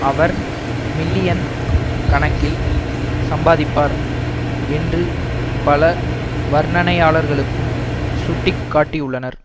அவர் million கணக்கில் சம்பாதிப்பார் என்று பல வர்ணனையாளர்களும் சுட்டி காட்டியுள்ளனர்